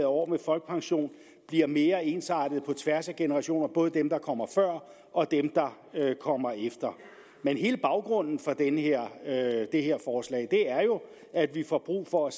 år med folkepension bliver mere ensartet på tværs af generationer både dem der kommer før og dem der kommer efter hele baggrunden for det her er jo at vi får brug for